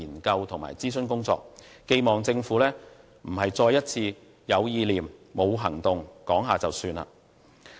我希望政府並不是再一次有意念、沒有行動，說說便算。